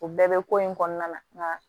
O bɛɛ bɛ ko in kɔnɔna la